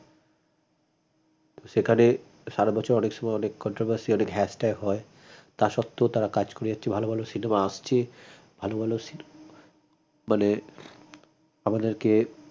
সেখানে সারা বছর অনেক সময় অনেক controversy অনেক hash tag হয় তা স্বত্তেও তারা কাজ করে যাচ্ছে ভাল ভাল cinema আসছে ভাল ভাল cinema মানে আমাদেরকে